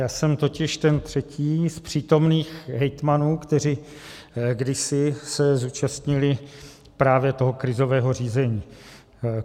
Já jsem totiž ten třetí z přítomných hejtmanů, kteří se kdysi zúčastnili právě toho krizového řízení.